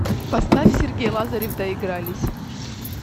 поставь сергей лазарев доигрались